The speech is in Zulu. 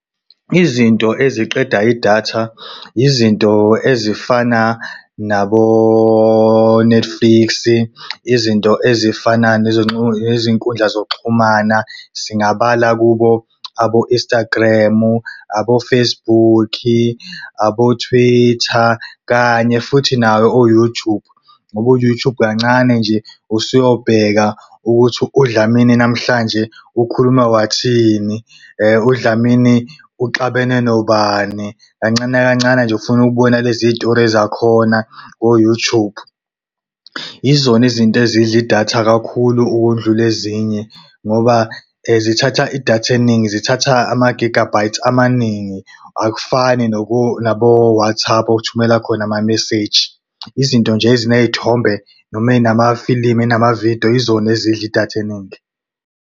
Izinto eziqeda idatha yizinto ezifana nabo-Netflix, izinto ezifana nezinkundla zokuxhumana. Singabala kubo abo-Instagram, abo-Facebook, abo-Twitter kanye futhi nawo u-YouTube. Ngoba u-YouTube kancane nje, usuyobheka ukuthi uDlamini namhlanje ukhulume wathini, UDlamini uxabene nobani. Kancane kancane nje ufunukubona lezi y'tori ezakhona ko-YouTube. Yizona izintezidla idatha kakhulu ukundlula ezinye ngoba zithatha idatha eningi, zithatha ama-gigabytes amaningi. Akufani nabo-WhatsApp othumela khona ama-message. Yizinto nje eziney'thombe noma ey'namafilimu, ey'namavidiyo yizona ezidla idatha eningi.